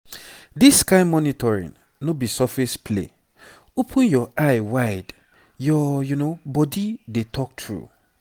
this kain monitoring no be surface play open your eye wide your body dey talk true.